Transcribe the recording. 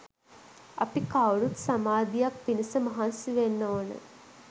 අපි කවුරුත් සමාධියක් පිණිස මහන්සි වෙන්න ඕන